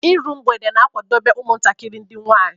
Ịru mgbede na-akwadobe umutakiri ndi nwanyi.